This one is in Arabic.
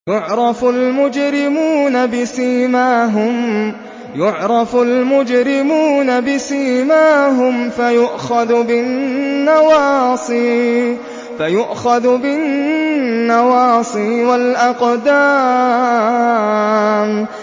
يُعْرَفُ الْمُجْرِمُونَ بِسِيمَاهُمْ فَيُؤْخَذُ بِالنَّوَاصِي وَالْأَقْدَامِ